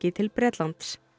til Bretlands